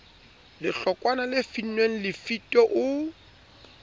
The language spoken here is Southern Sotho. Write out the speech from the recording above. lehlokwana le finnweng lefito o